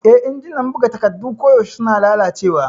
Eh, injinan buga takardu koyaushe suna lalacewa.